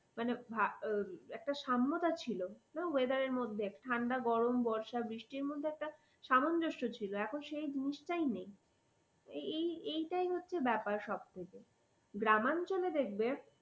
মানে ভা একটা সাম্যতা ছিল weather র মধ্যে ঠান্ডা গরম বর্ষা বৃষ্টির মধ্যে একটা সামঞ্জস্য ছিল এখন সেই জিনিসটাই নেই। এই এই এইটাই হচ্ছে ব্যাপার সবথেকে গ্রামাঞ্চলে দেখবে